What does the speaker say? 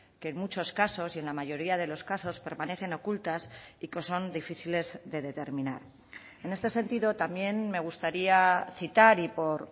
que en muchos casos y en la mayoría de los casos permanecen ocultas y que son difíciles de determinar en este sentido también me gustaría citar y por